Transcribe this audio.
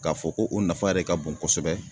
K'a fɔ ko o nafa yɛrɛ ka bon kosɛbɛ